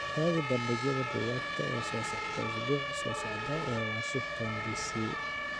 raadi bandhigyada buugaagta ee soo socda usbuuca soo socda ee washington d. c.